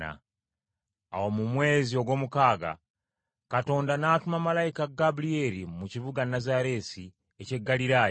Awo mu mwezi ogw’omukaaga, Katonda n’atuma malayika Gabulyeri mu kibuga Nazaaleesi eky’omu Ggaliraaya